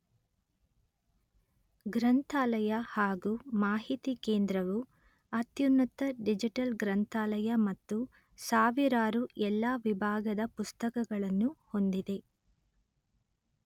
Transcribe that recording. ಗ್ರಂಥಾಲಯ ಹಾಗೂ ಮಾಹಿತಿ ಕೇಂದ್ರವು ಅತ್ಯುನ್ನತ ಡಿಜಿಟಲ್ ಗ್ರಂಥಾಲಯ ಮತ್ತು ಸಾವಿರಾರು ಎಲ್ಲ ವಿಭಾಗದ ಪುಸ್ತಕಗಳನ್ನು ಹೊಂದಿದೆ